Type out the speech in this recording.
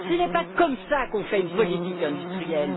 Ce n'est pas comme ça qu'on fait une politique industrielle.